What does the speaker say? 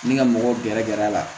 Ni ka mɔgɔw gɛrɛ gɛrɛ a la